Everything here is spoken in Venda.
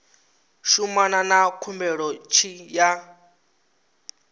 shumana na khumbelo tshi ya